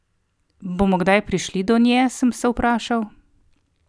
Bomo kdaj prišli do nje, sem se vprašal ?